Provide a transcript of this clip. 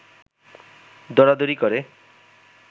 দরাদরি করে